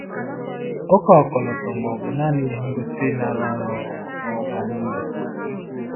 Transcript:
ụka ọkọlọtọ mba ọ̀ bụ naanị ihe ngosi na-arụ ọrụ bara uru?